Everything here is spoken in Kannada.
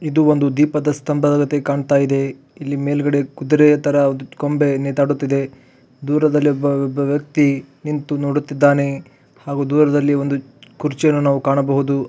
ಇದು ಒಂದು ದೀಪದ ಸ್ಟಂಬದಂತೆ ಕಾಣತ್ತಾ ಇದೆ. ಇಲ್ಲಿ ಮೇಲ್ಗಡೆ ಕುದರೆ ತರಾ ಒಂದು ಕೊಂಬೆ ನೇತಾಡುತ್ತಿದೆ. ದೂರದಲ್ಲಿ ಒಬ್ಬ ಒಬ್ಬಾ ವ್ಯಕ್ತಿ ನಿಂತು ನೋಡುತ್ತಿದ್ದಾನೆ. ಹಾಗು ದೂಳದಲ್ಲಿ ಒಂದು ಕುರ್ಚಿಯನ್ನ ನಾವು ಕಾಣಬಹುದು.